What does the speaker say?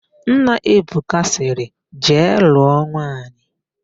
Nna Ebuka sịrị, "jee lụọ nwaanyị"!